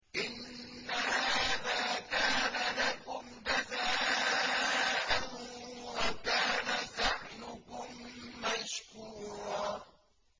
إِنَّ هَٰذَا كَانَ لَكُمْ جَزَاءً وَكَانَ سَعْيُكُم مَّشْكُورًا